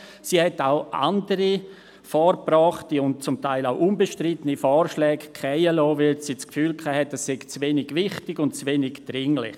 Sie liess auch andere vorgebrachte und zum Teil unbestrittene Vorschläge fallen, weil sie das Gefühl hatte, sie seien zu wenig wichtig und zu wenig dringlich.